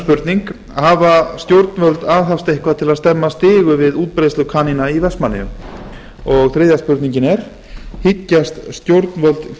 annars hafa stjórnvöld aðhafst eitthvað til að stemma stigu við útbreiðslu kanína í vestmannaeyjum þriðja hyggjast stjórnvöld